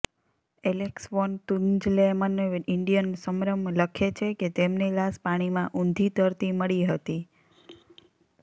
Alex von Tunzelmann Indian સમરમં લખે છે કે તેમની લાશ પાણીમાં ઉંધી તરતી મળી હતી